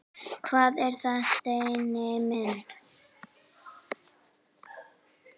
Hvað er það, Steini minn?